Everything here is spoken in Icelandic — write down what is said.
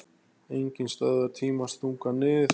Enginn stöðvar tímans þunga nið